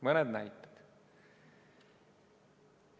Mõned näited.